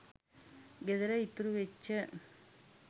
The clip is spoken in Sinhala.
ගෙදර ඉතුරු වෙච්ච